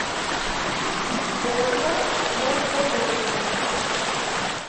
ольга морходоева